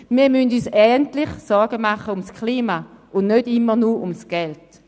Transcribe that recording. – Wir müssen uns endlich Sorgen machen ums Klima und nicht immer nur ums Geld!